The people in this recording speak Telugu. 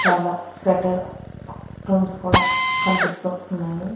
చాలా స్వెటర్ రూమ్స్ కూడా కనిపిస్తూ ఉన్నాయి.